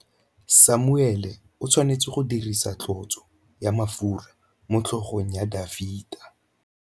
Samuele o tshwanetse go dirisa tlotsô ya mafura motlhôgong ya Dafita.